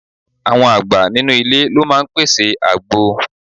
Àwọn àgbà nínú ilé ló máa ń pèsè àgbo.